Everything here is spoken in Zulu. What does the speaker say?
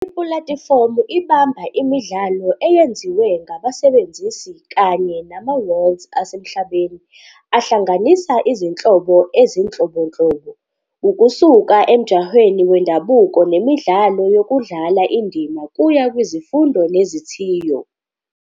Ipulatifomu ibamba imidlalo eyenziwe ngabasebenzisi kanye nama-worlds asemhlabeni ahlanganisa izinhlobo ezinhlobonhlobo, ukusuka emjahweni wendabuko nemidlalo yokudlala indima kuya kwizifundo nezithiyo.